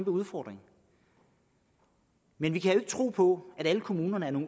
udfordring men vi kan jo tro på at alle kommunerne er